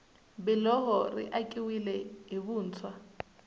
biloho ri akiwile hi vuntshwa